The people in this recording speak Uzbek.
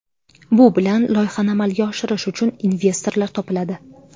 Bu bilan loyihani amalga oshirish uchun investorlar topiladi.